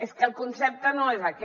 és que el concepte no és aquest